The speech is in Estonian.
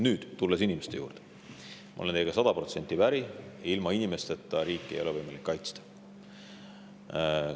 Nüüd, kui tulla inimeste juurde, siis ma olen teiega sada protsenti päri: ilma inimesteta ei ole võimalik riiki kaitsta.